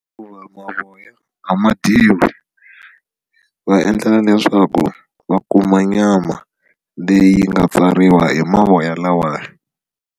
Hikuva mavoya a ma dyiwi va endlela leswaku va kuma nyama leyi nga pfariwa hi mavoya lawaya.